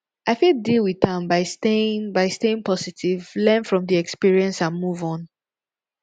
i fit deal with am by staying by staying positive learn from di experience and move on